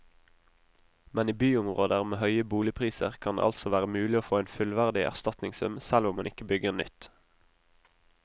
Men i byområder med høye boligpriser kan det altså være mulig å få en fullverdig erstatningssum selv om man ikke bygger nytt.